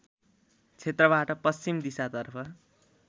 क्षेत्रबाट पश्चिम दिशातर्फ